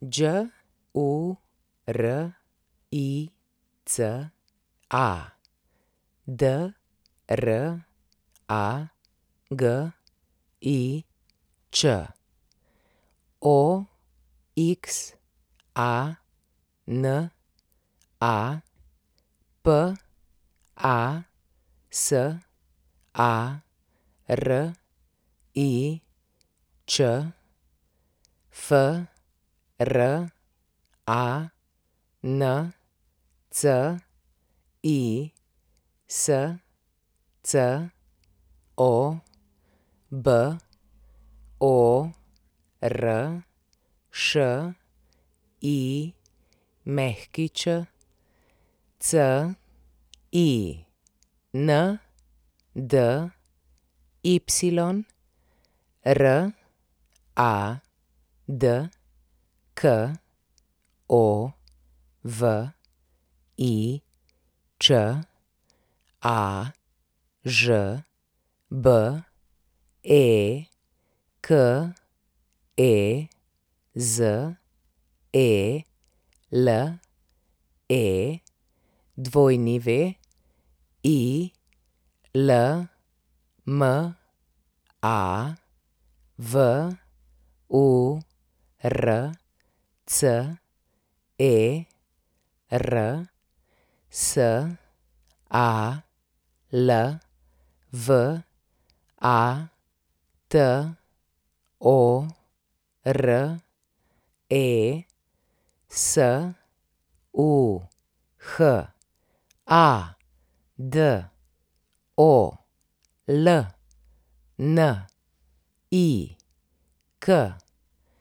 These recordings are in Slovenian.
Đurica Dragič, Oxana Pasarič, Francisco Boršić, Cindy Radkovič, Ažbe Kezele, Wilma Vurcer, Salvatore Suhadolnik,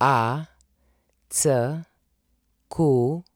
Jacques Mahkovič.